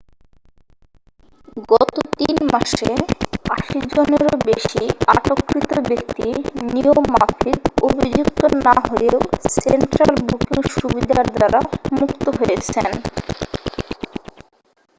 গত 3 মাসে 80 জনেরও বেশী আটককৃত ব্যক্তি নিয়ম মাফিক অভিযুক্ত না হয়েও সেন্ট্রাল বুকিং সুবিধার দ্বারা মুক্ত হয়েছেন